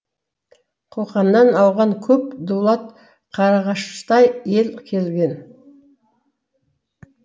қоқаннан ауған көп дулат қарағаштай ел келген